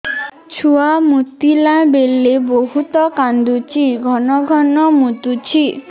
ଛୁଆ ମୁତିଲା ବେଳେ ବହୁତ କାନ୍ଦୁଛି ଘନ ଘନ ମୁତୁଛି